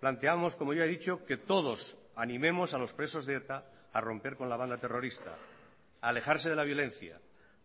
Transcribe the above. planteamos como ya he dicho que todos animemos a los presos de eta a romper con la banda terrorista a alejarse de la violencia